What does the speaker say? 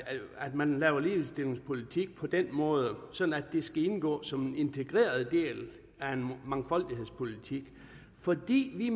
man laver ligestillingspolitik på den måde sådan at det skal indgå som en integreret del af en mangfoldighedspolitik fordi vi